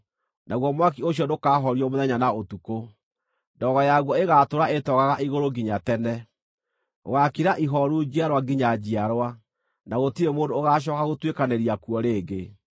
Naguo mwaki ũcio ndũkahorio mũthenya na ũtukũ; ndogo yaguo ĩgaatũũra ĩtoogaga igũrũ nginya tene. Gũgaakira ihooru njiarwa nginya njiarwa, na gũtirĩ mũndũ ũgaacooka gũtuĩkanĩria kuo rĩngĩ.